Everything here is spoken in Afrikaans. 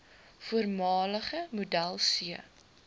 voormalige model c